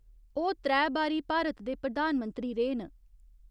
ओह् त्रै बारी भारत दे प्रधानमंत्री रेह् न।